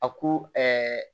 A ko ɛɛ